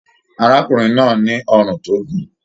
Arákùnrin náà ní ọrún tó gùn.